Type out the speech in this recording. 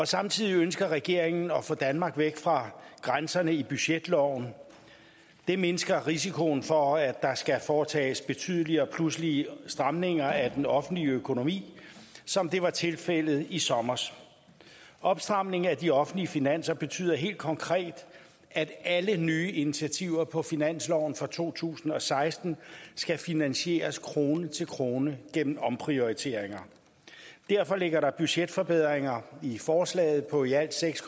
samtidig ønsker regeringen at få danmark væk fra grænserne i budgetloven det mindsker risikoen for at der skal foretages betydelige og pludselige stramninger af den offentlige økonomi som det var tilfældet i sommer opstramningen af de offentlige finanser betyder helt konkret at alle nye initiativer på finansloven for to tusind og seksten skal finansieres krone til krone gennem omprioriteringer derfor ligger der budgetforbedringer i forslaget på i alt seks